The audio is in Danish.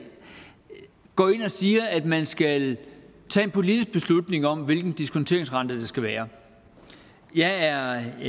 går jo ind og siger at man skal tage en politisk beslutning om hvilken diskonteringsrente der skal være jeg er af